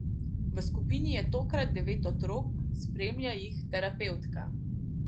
V skupini je tokrat devet otrok, spremlja jih terapevtka.